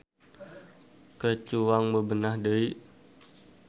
Ke cuang bebenah deui.